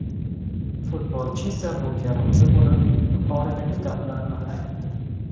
Futbolchi esa bunga rozi bo‘lib, yuqoridagi gaplarni aytdi.